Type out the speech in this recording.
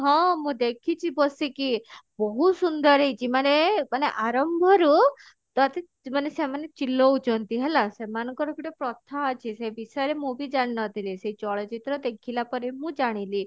ହଁ ମୁଁ ଦେଖିଛି ବସିକି ବହୁତ ସୁନ୍ଦର ହେଇଛି ମାନେ ମାନେ ଆରମ୍ଭ ରୁ ତୋତେ ମାନେ ସେମାନେ ଚିଲଉଛନ୍ତି ହେଲା ସେମାନଙ୍କର ଗୋଟେ ପ୍ରଥା ଅଛି ସେଇ ବିଷୟରେ ମୁଁ ବି ଜାଣିନଥିଲି ସେଇ ଚଳଚିତ୍ର ଦେଖିଲା ପରେ ମୁଁ ଜାଣିଲି